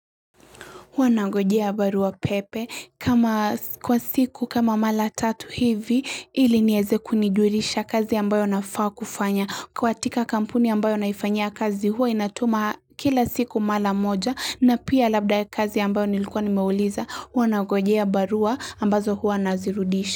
Wanagojea barua pepe kama kwa siku kama mara tatu hivi ili nieze kunijurisha kazi ambayo nafaa kufanya katika kampuni ambayo naifanya kazi hua inatuma kila siku mara moja na pia labda kazi ambayo nilikuwa nimeuliza wanangojea barua ambazo hua nazirudisha.